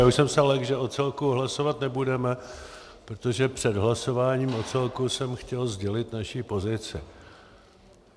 Já už jsem se lekl, že o celku hlasovat nebudeme, protože před hlasováním o celku jsem chtěl sdělit naši pozici.